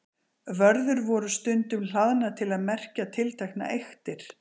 vörður voru stundum hlaðnar til að merkja tilteknar eyktir